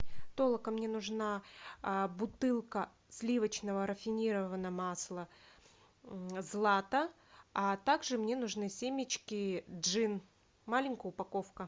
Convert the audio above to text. толока мне нужна бутылка сливочного рафинированного масла злата а также мне нужны семечки джин маленькая упаковка